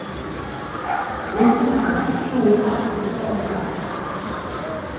Boken har en rekke gode fargebilder og klare kart.